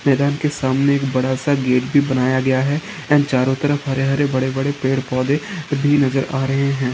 मैदान के सामने एक बड़ा सा गेट भी बनाया गया है एंड चारों तरफ हरे हरे बड़े बड़े पेड़ पौधे भी नज़र आ रहे हैं।